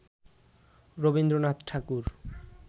Rabindranath Thakur